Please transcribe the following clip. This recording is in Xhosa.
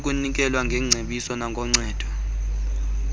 yokunikelwa kweengcebiso noncedo